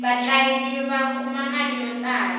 vatlangi va kuma mali yo tala